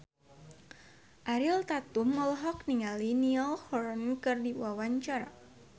Ariel Tatum olohok ningali Niall Horran keur diwawancara